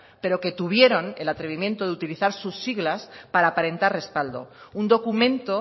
pero que tuvieron el atrevimiento de utilizar sus siglas para aparentar respaldo un documento